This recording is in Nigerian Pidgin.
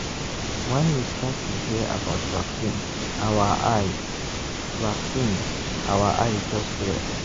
when we start to hear about vaccine our eye vaccine our eye just clear.